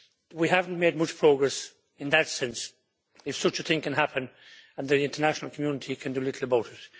We haven't made much progress, in that sense, if such a thing can happen and the international community can do little about it.